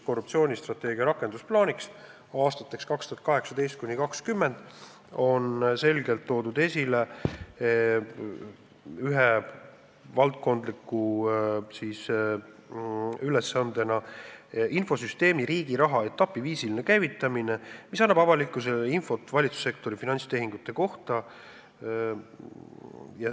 Korruptsioonivastase strateegia rakendusplaanis aastateks 2018–2020 on ühe valdkondliku ülesandena toodud selgelt esile infosüsteemi Riigiraha etapiviisiline käivitamine, et anda avalikkusele infot valitsussektori finantstehingute kohta.